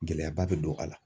Gɛlɛyaba bɛ don a la.